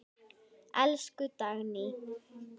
Elsku Dagný.